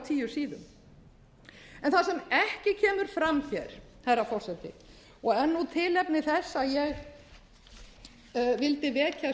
tíu síðum en það sem ekki kemur fram hér herra forseti og er